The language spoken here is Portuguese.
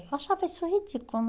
Eu achava isso ridículo, né?